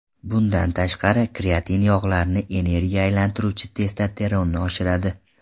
Bundan tashqari, kreatin yog‘larni energiyaga aylantiruvchi testosteronni oshiradi.